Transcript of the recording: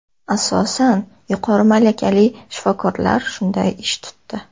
Asosan yuqori malakali shifokorlar shunday ish tutdi.